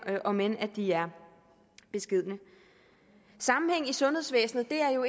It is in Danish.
om end de er beskedne sammenhæng i sundhedsvæsenet er jo